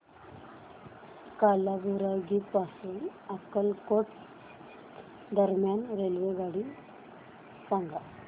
कालाबुरागी पासून अक्कलकोट दरम्यान रेल्वेगाडी सांगा